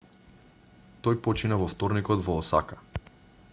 тој почина во вторникот во осака